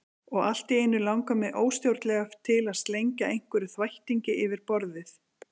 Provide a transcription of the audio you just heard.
Og allt í einu langar mig óstjórnlega til að slengja einhverjum þvættingi yfir borðið.